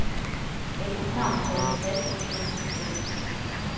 Ægteparret havde en taske stående på gulvet.